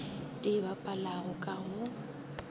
di e bapalago ka go